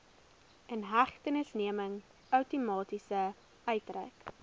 inhegtenisneming outomaties uitgereik